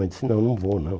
Eu disse, não, não vou não.